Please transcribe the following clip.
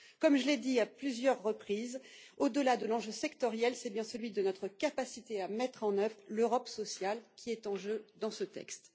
Comme je l'ai dit à plusieurs reprises, au delà de l'enjeu sectoriel, c'est bien celui de notre capacité à mettre en œuvre l'Europe sociale qui est en jeu dans ce texte.